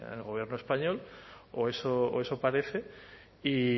en el gobierno español o eso parece y